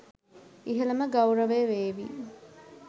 ඉහළම ගෞරවය වේවි.